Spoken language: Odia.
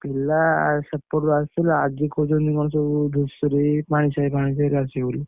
ପିଲା ସେପଟରୁ ଆସୁଥିଲେ ଆଜି କହୁଛନ୍ତି କଣ ସେ ଯୋଉ ଧୂସରି ପାଣିସାହି ଫାଣିସାହିରୁ ଆସିବେ ଆସିବେ ବୋଲି।